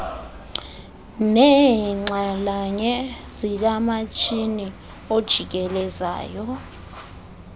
neenxalanye zikamatshini ojikelezayo